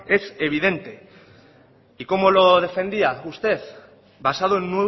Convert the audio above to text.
es evidente y cómo lo defendía usted basado en